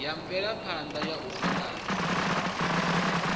ya mvelaphana ya u angana